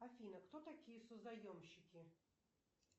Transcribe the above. афина кто такие созаемщики